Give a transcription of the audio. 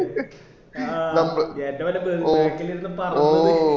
ആ ഏറ്റം വല്ല back ല് ഇരുന്ന പറപ്പിച്ചു